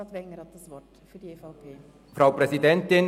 Grossrat Wenger hat das Wort für die EVP.